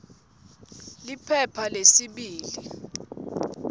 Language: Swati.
liphepha lesibili p